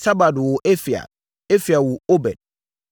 Sabad woo Efial. Efial woo Obed.